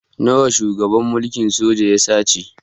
Nawa shugaban mulkin sojan ya sace?